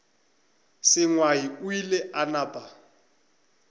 sengwai o ile a napa